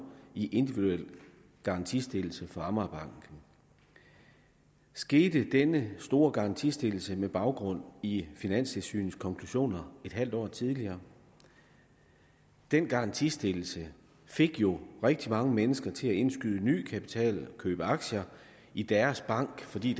i individuel garantistillelse for amagerbanken skete denne store garantistillelse med baggrund i finanstilsynets konklusioner et halvt år tidligere den garantistillelse fik jo rigtig mange mennesker til at indskyde ny kapital og købe aktier i deres bank fordi